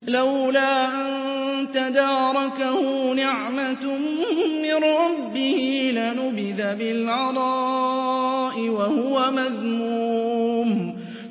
لَّوْلَا أَن تَدَارَكَهُ نِعْمَةٌ مِّن رَّبِّهِ لَنُبِذَ بِالْعَرَاءِ وَهُوَ مَذْمُومٌ